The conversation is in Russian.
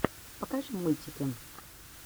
покажи мультики